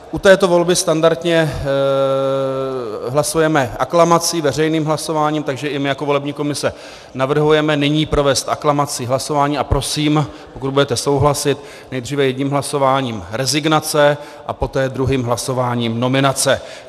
U této volby standardně hlasujeme aklamací, veřejným hlasováním, takže i my jako volební komise navrhujeme nyní provést aklamací hlasování a prosím, pokud budete souhlasit, nejdříve jedním hlasováním rezignace a poté druhým hlasováním nominace.